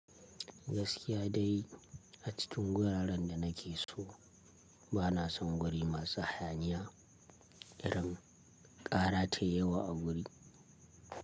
Gaskiya dai a cikin wuraren da na ke so bana son guri masu hayaniya, irin ƙara tai yawa a wuri.